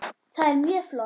Það er mjög flott.